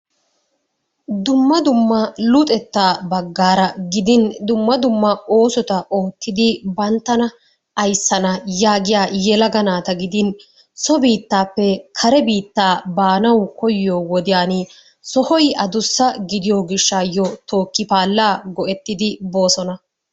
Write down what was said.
Dumma dumma luxettaa bagaara gidin dumma dumma oosota oottidi banttana ayssana yaagiya yelaga naata gidin so biittaappe kare biittaa baanawu koyiyoo wodiyan sohoy addussa gidiyo giyshshayo tookipaalaa go'ettidi boosona.